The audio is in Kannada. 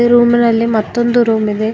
ರೂಮ್ ನಲ್ಲಿ ಮತ್ತೊಂದು ರೂಮ್ ಇದೆ.